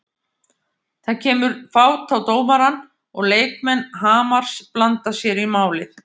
Það kemur fát á dómarann og leikmenn Hamars blanda sér í málið.